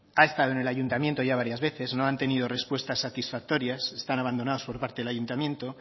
ha estado en el ayuntamiento ya varias veces no han tenido respuestas satisfactorias están abandonados por parte del ayuntamiento